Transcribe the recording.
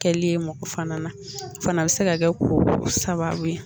Kɛli ye mɔgɔ fana na o fana be se ka kɛ ko sababu ye